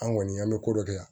An kɔni an bɛ ko dɔ kɛ